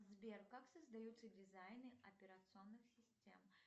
сбер как создаются дизайны операционных систем